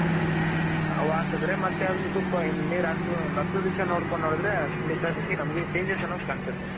ಅವಾಕ್ದ್ರೆ ಮತ್ ಇನ್ ಸ್ವಲ್ಪ ನೀರ್ ಹಾಕು ಹತ್ಖಂ ದಿವ್ಸ ನೋಡ್ಕೊಂಡ್ಡಿ ಹೋದ್ರೆ ನಮ್ಗೆ Changes ಅನ್ನೋದ್ ಕಾಣ್ಸುತ್ತೆ.